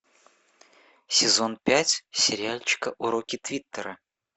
сезон пять сериальчика уроки твиттера